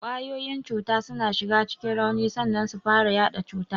Kwayoyin cuta suna shiga cikin rauni sannan su fara yaɗa cuta.